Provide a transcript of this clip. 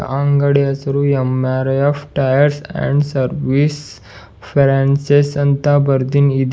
ಅಂಗಡಿಯ ಹೆಸರು MRF tyres and service franchise ಅಂತ‌ ಬರ್ದಿದ್ ಇದೆ.